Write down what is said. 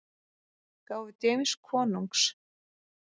gáfu James konungs.